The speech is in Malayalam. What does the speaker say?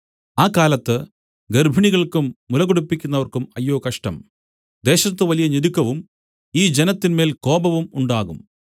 ആ കാലത്ത് ഗർഭിണികൾക്കും മുല കുടിപ്പിക്കുന്നവർക്കും അയ്യോ കഷ്ടം ദേശത്തു വലിയ ഞെരുക്കവും ഈ ജനത്തിന്മേൽ കോപവും ഉണ്ടാകും